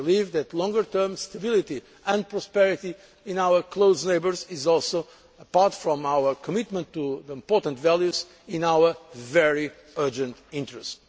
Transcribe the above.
that process. I believe that longer term stability and prosperity in our close neighbours is also apart from our commitment to important values in our very urgent